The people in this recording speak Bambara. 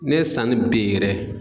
Ne ye sanni bin yɛrɛ